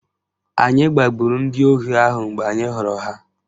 Anyị gbagburu ndị ohi ahụ mgbe anyị hụrụ ha